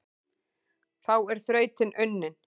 Þá er þrautin unnin,